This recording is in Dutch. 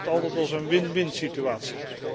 Ik beschouw dat altijd als een win winsituatie.